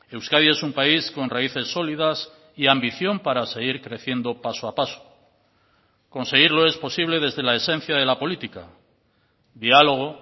euskadi es un país con raíces sólidas y ambición para seguir creciendo paso a paso conseguirlo es posible desde la esencia de la política diálogo